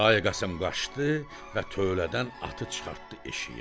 Kərbəlayı Qasım qaçdı və tövlədən atı çıxartdı eşiyə.